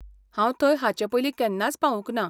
हांव थंय हाचे पयलीं केन्नाच पावूंक ना.